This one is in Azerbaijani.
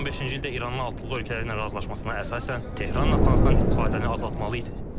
2015-ci ildə İranın altılıq ölkələri ilə razılaşmasına əsasən Tehran Natanzdan istifadəni azaltmalı idi.